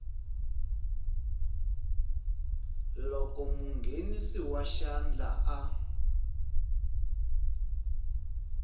loko munghenisi wa xandla a